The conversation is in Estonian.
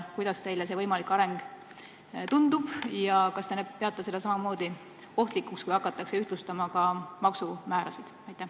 Kuidas teile see võimalik areng tundub ja kas te peate samamoodi ohtlikuks seda, kui hakatakse ühtlustama ka maksumäärasid?